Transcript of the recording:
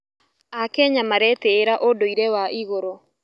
Akenya maretĩĩra ũndũire wa igũrũ.